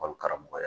Barika mɔgɔya